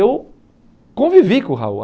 Eu convivi com o Raul.